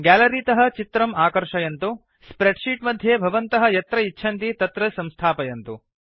gallery तः चित्रम् आकर्षयन्तु स्प्रेड् शीट् मध्ये भवन्तः यत्र इच्छन्ति तत्र स्थापयन्तु